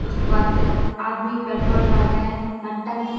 उसके बाद आदमी पेट्रोल डाल रहे हैं यहां टंकी--